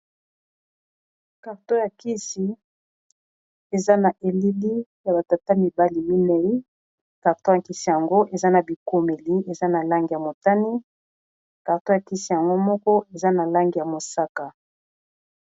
karto ya kisi eza na elili ya batata mibali minei karto ya nkisi yango eza na bikomeli eza na langi ya motani karto ya kisi yango moko eza na lange ya mosaka